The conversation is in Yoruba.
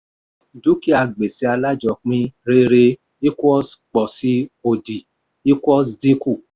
dúkìá gbèsè alájọpín: rere equals pọ̀sí òdì equals dínkù.